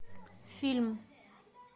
фильм